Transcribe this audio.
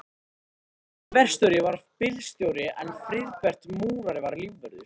Steini verkstjóri var bílstjóri en Friðbert múrari var lífvörður.